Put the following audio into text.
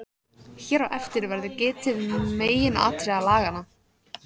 Hér á eftir verður getið meginatriða laganna.